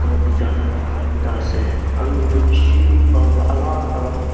aru bikai lah dukan ekta ase aru yate bishi bhal para alag alag--